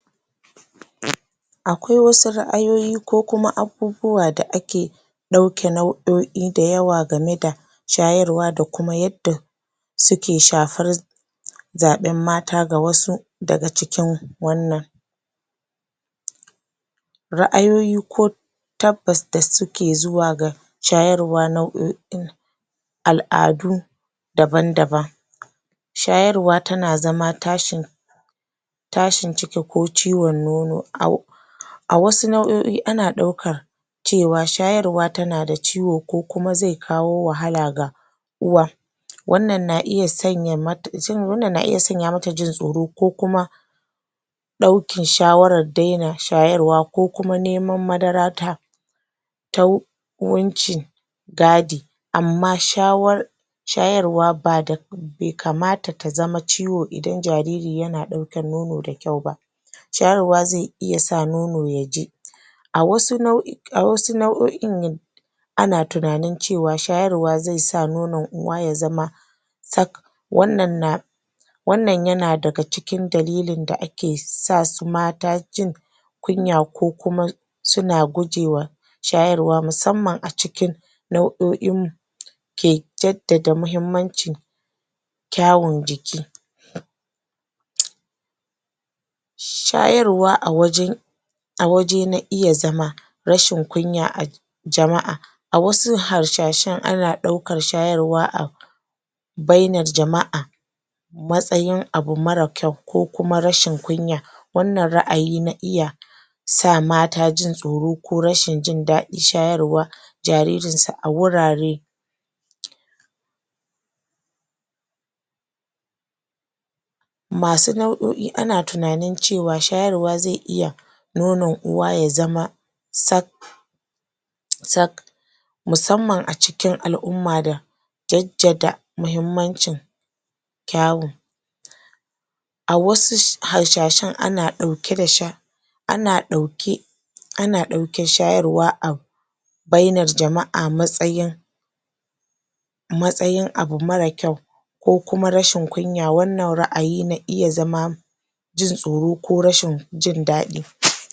Akwai wasu ra'ayoyi ko kuma abubuwa da ake ɗauke nau'o'i dayawa gane da sayarwa da kuma yadda suke shafar zaɓen mata ga wasu daga cikin wannan ra'ayoyi ko tabbas da suke zuwa ga shayarwa nau'o'in al'adu daban-daban shayarwa tana zama tashin tashin ciki ko ciwon nono a wasu nau'o'in ana ɗaukar cewa shayarwa tana da ciwo ko kuma zai kawo wahala ga uwa wannan na iya sanya mata jin tsoro ko kuma ɗaukan shawaran daina shayarwa ko kuma neman madara ta ta wucin gadi amma shawar shayaewa ba da be kamata ta zama ciwo idan jariri yana ɗaukan nono da kyau ba shayarwa zai iya sa nono ya ji a wasu nau'o'in ana tunanin cewa shayarwa zai sa nonon uwa ya zama sak wannan na wannan yana daga cikin dalilin da ake sa su mata jin kunya ko kuma suna gujewa shayarwa musamman a cikin nau'o'in ke jaddada muhimmancin kyawun jiki shayarwa a wajen a waje na iya zama rashin kunya a cikin jama'a a wasu hasashen ana ɗaukar shayarwa a bainar jama'a matsayin abu mara kyau ko kuma rashin kunya wannan ra'ayi na iya sa mata jin tsoro ko rashin jin daɗin shayarwa jaririn su a wurare masu nau; o'i ana tunanin cewa shayarwa zai iya nonon uwa ya zama sak sak musamman a cikin al'umma da jaddada muhimmancin kyawun a wasu hasashen ana ɗauke da ana ɗauke ana ɗaukan shayarwa a bainar jama'a matsayin matsayin abu mara kyau ko kuma rashin kunya. wannan ra'ayi na iya zama jin tsoro ko rashin jin daɗi.